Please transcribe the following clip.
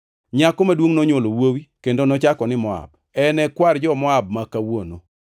Nyako maduongʼ nonywolo wuowi, kendo nochake ni Moab, en e kwar jo-Moab ma kawuono.